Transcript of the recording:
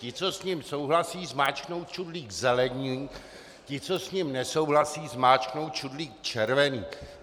Ti, co s ním souhlasí, zmáčknou čudlík zelený, ti, co s ním nesouhlasí, zmáčknou čudlík červený.